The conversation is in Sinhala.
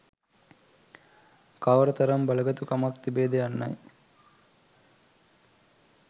කවර තරම් බලගතු කමක් තිබේද යන්නයි.